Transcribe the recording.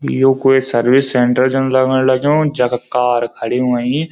यु कोई service centre जन लगण लग्युं जख कार खड़ी हुईं।